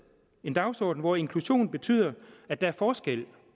en dagsorden hvor inklusion betyder at der er forskel